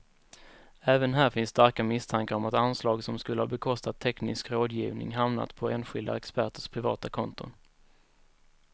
Även här finns starka misstankar om att anslag som skulle ha bekostat teknisk rådgivning hamnat på enskilda experters privata konton.